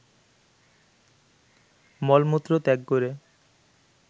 মলমূত্র ত্যাগ করে